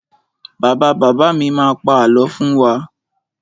Bàbá bàbá mi má pa àlọ́ fún wa.